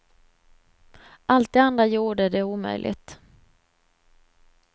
Allt det andra gjorde det omöjligt.